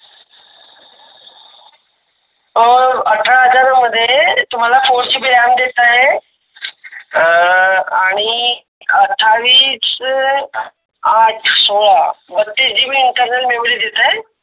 अं अठरा हजार मध्ये तुम्हाला GB ram देत आहे. अं आनी आठावीस अह आठ सोळा बथिस Four GB internal memory देत आहे.